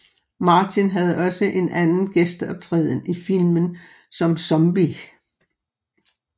Martin havde også en anden gæsteoptræden i filmen som zombie